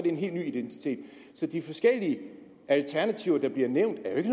en helt ny identitet så de forskellige alternativer der bliver nævnt er